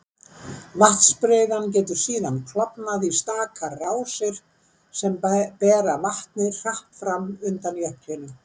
Vatnsbreiðan getur síðan klofnað í stakar rásir sem bera vatnið hratt fram undan jöklinum.